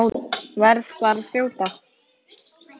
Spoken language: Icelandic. Verð bara að þjóta!